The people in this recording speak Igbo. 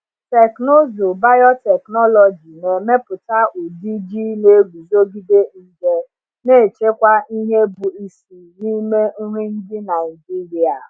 Teknụzụ biotechnology na-emepụta ụdị ji na-eguzogide nje, na-echekwa ihe bụ isi n’ime nri ndị Naijiria.